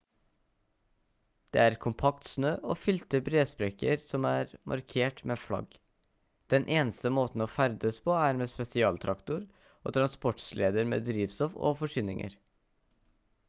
det er kompakt snø og fylte bresprekker som er markert med flagg den eneste måten å ferdes på er med spesialtraktor og transportsleder med drivstoff og forsyninger